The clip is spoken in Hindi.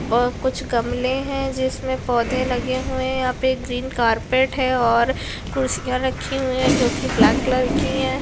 और कुछ गमले है जिसमें पौधे लगे हुए है यहाँ पे ग्रीन कारपेट है और कुर्सिया रखी हुई है जो की ब्लैक कलर की है।